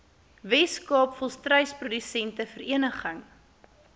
weskaap volstruisprodusente vereniging